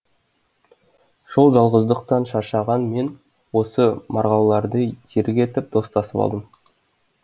сол жалғыздықтан шаршаған мен осы марғауларды серік етіп достасып алдым